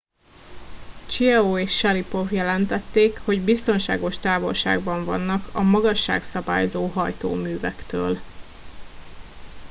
chiao és sharipov jelentették hogy biztonságos távolságban vannak a magasságszabályzó hajtóművektől